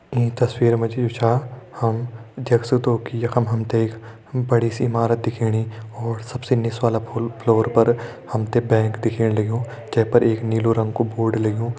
ईं तस्वीर मा जी जु छा हम देख सक्दुं की यखम हम ते एक बड़ी सी इमारत दिखेणी और सबसे निस वाला फ़ो-फ्लोर पर हम ते बैंक दिखणे लग्युं जै पर एक नीलु रंग कु बोर्ड लग्युं।